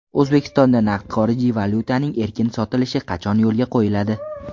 O‘zbekistonda naqd xorijiy valyutaning erkin sotilishi qachon yo‘lga qo‘yiladi?.